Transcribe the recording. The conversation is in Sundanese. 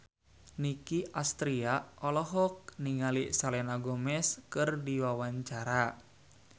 Nicky Astria olohok ningali Selena Gomez keur diwawancara